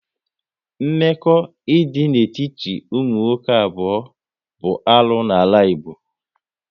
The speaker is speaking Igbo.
Mmekọ idị n'etiti ụmụ nwoke abụọ bụ arụ n'ala Igbo